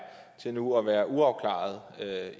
til nu at være uafklarede med